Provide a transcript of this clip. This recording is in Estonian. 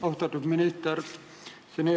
Austatud minister!